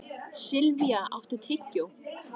Silvía, áttu tyggjó?